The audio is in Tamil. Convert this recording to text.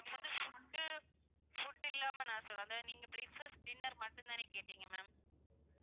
இது வந்து food food ல்லாமே நா சொல்ற அதா நீங்க breakfast, dinner மட்டும்தானே கேட்டிங்க ma'am